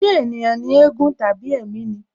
Ṣé ènìyàn ni éégún tàbí ẹ̀mí ni?